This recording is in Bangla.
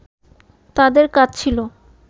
তাদের কাজ ছিল